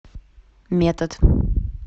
метод